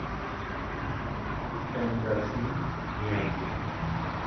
эндорфин мияги